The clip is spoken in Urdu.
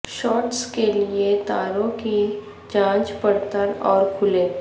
شارٹس کے لئے تاروں کی جانچ پڑتال اور کھولیں